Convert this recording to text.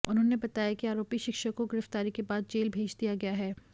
उन्होंने बताया कि आरोपी शिक्षक को गिरफ्तारी के बाद जेल भेज दिया गया है